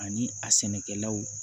Ani a sɛnɛkɛlaw